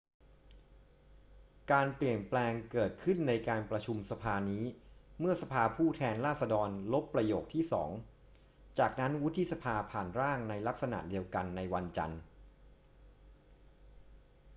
การเปลี่ยนแปลงเกิดขึ้นในการประชุมสภานี้เมื่อสภาผู้แทนราษฎรลบประโยคที่สอง จากนั้นวุฒิสภาผ่านร่างในลักษณะเดียวกันในวันจันทร์